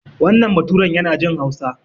Wannan baturan yana jin Hausa.